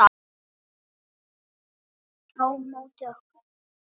Þau á móti okkur.